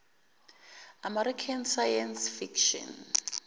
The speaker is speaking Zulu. american science fiction